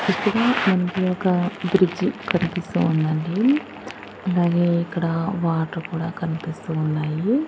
ఇక్కడ మనకి ఒక బ్రిడ్జి కనిపిస్తూ ఉందండి అలాగే ఇక్కడ వాటర్ కూడా కనిపిస్తూ ఉన్నాయి.